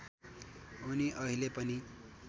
उनी अहिले पनि